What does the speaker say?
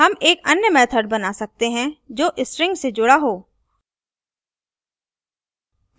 हम एक अन्य method बना सकते हैं जो strings से जुड़ा हो